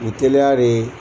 U tɛ